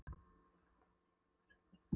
Vinnuvélar dotta í grunnum og skurðum.